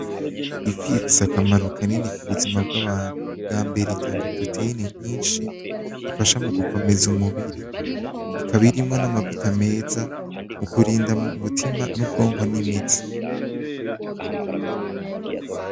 Ifi ifise akamaro kanini ku buzima bw'abantu, bwambere itanga proteyine nyinshi ifasha mu gukomeza umubiri ikaba irimwo n'amavuta meza mu kurinda mu umutima n'ubwonko n'imitsi.